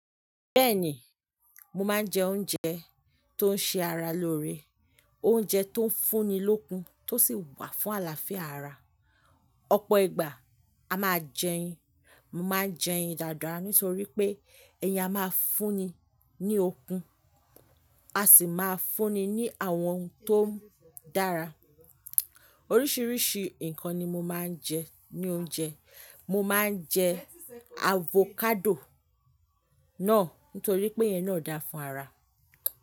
Bẹ́ẹ̀ni, mo máa ń jẹ oúnjẹ tó ń ṣe ara lóore, oúnjẹ tó ń fún ni lókun tó sì wà fún àlàáfíà ara. Ọ̀pọ̀ ìgbà a máa jẹyin, mo máa n jẹ ẹyin dàda nítorí pé ẹyin a máa ń fún ni ní okun, a sì máa ń fún ni ní àwọn ohun tó ń dára. Oríṣiríṣi ǹkan ni mo máa ń jẹ ní oúnjẹ. Mo máa ń jẹ avocado náà nítorí pé ẹyin náà dára fún ara.